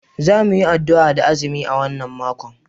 Za mu yi addu'a da azumi a wannan makon